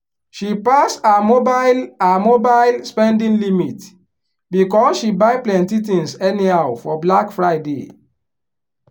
she pass her mobile her mobile spending limit because she buy plenty things anyhow for black friday.